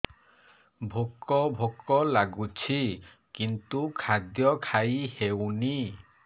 ଭୋକ ଭୋକ ଲାଗୁଛି କିନ୍ତୁ ଖାଦ୍ୟ ଖାଇ ହେଉନି